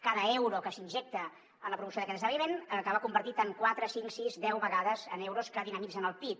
cada euro que s’injecta en la promoció d’aquest esdeveniment acaba convertit en quatre cinc sis deu vegades en euros que dinamitzen el pib